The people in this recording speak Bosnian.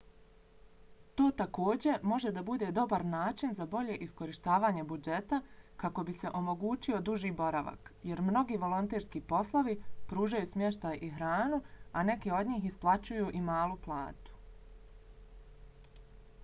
to takođe može da bude dobar način za bolje iskorištavanje budžeta kako bi se omogućio duži boravak jer mnogi volonterski poslovi pružaju smještaj i hranu a neki od njih isplaćuju i malu platu